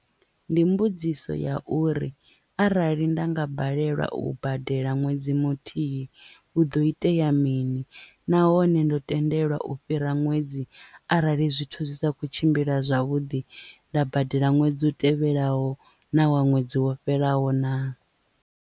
Ndi mbudziso ya uri arali nda nga balelwa u badela ṅwedzi muthihi hu ḓo itea mini nahone ndo tendelwa u fhira ṅwedzi arali zwithu zwi sa kho tshimbila zwavhuḓi nda badela ṅwedzi u tevhelaho na wa ṅwedzi wo fhelaho naa.